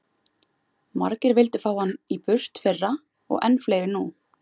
Margir vildu fá hann í burt fyrra og enn fleiri nú.